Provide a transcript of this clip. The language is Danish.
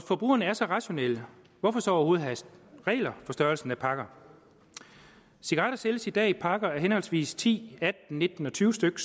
forbrugerne er så rationelle hvorfor så overhovedet have regler for størrelsen af pakker cigaretter sælges i dag i pakker á henholdsvis ti atten nitten og tyve styk